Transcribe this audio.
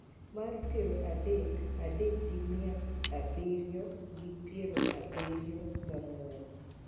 mar piero adek adek gi mia abiriyo gi piero abiriyo gang'wen